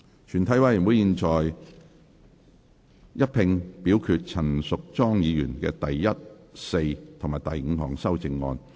全體委員會現在一併表決陳淑莊議員的第一、四及五項修正案。